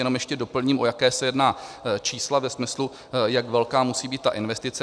Jenom ještě doplním, o jaká se jedná čísla ve smyslu, jak velká musí být ta investice.